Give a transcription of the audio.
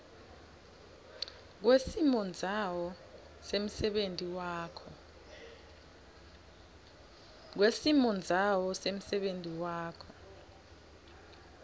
kwesimondzawo semsebenti wakho